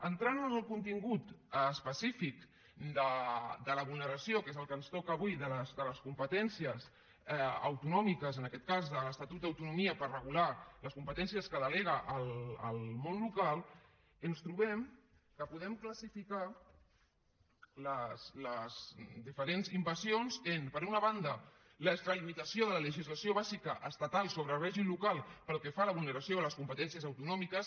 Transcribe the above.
entrant en el contingut específic de la vulneració que és el que ens toca avui de les competències autonòmiques en aquest cas de l’estatut d’autonomia per regular les competències que delega el món local ens trobem que podem classificar les diferents invasions en per una banda l’extralimitació de la legislació bàsica estatal sobre règim local pel que fa a la vulneració de les competències autonòmiques